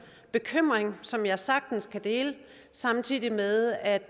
bekymring som jeg sagtens kan dele samtidig med at